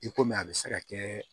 I komi a bɛ se ka kɛ